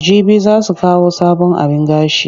Jibi za su kawo sabon abin gashi.